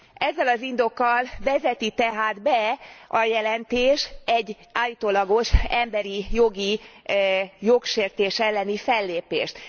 Ezzel az indokkal vezeti tehát be a jelentés egy állítólagos emberi jogi jogsértés elleni fellépést.